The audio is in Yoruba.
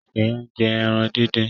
Sheye njé èràn dín dín.